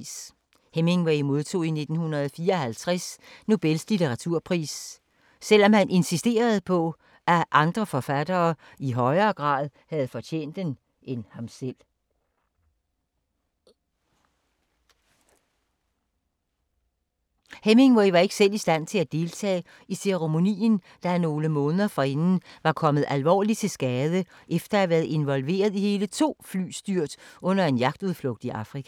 Hemingway modtog i 1954 Nobels litteraturpris, selvom han insisterede på, at andre forfattere i højere grad havde fortjent den end ham selv. Hemingway var ikke selv i stand til at deltage i ceremonien, da han nogle måneder forinden var kommet alvorligt til skade, efter at have været involveret i hele to flystyrt under en jagtudflugt i Afrika.